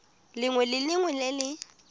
lengwe le lengwe le le